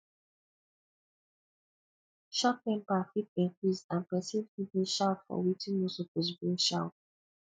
short temper fit increase and pesin fit dey shout for wetin no suppose bring shout